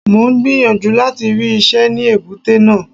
Mò ń gbìyànjú láti rí iṣẹ́ ní èbúté náà.